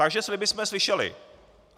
Takže sliby jsme slyšeli.